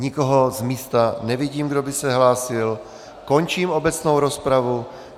Nikoho z místa nevidím, kdo by se hlásil, končím obecnou rozpravu.